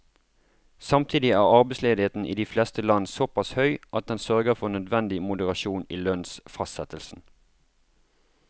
Samtidig er arbeidsledigheten i de fleste land såpass høy at den sørger for nødvendig moderasjon i lønnsfastsettelsen.